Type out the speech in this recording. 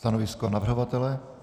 Stanovisko navrhovatele?